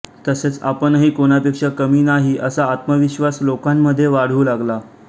तसेच आपणही कोणापेक्षा कमी नाही असा आत्मविश्वास लोकांमध्ये वाढू लागला